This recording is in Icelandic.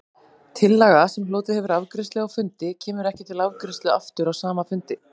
Tillaga, sem hlotið hefur afgreiðslu á fundi, kemur ekki til afgreiðslu aftur á sama fundi.